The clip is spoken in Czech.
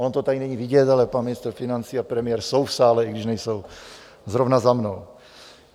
Ono to tady není vidět, ale pan ministr financí a premiér jsou v sále, i když nejsou zrovna za mnou.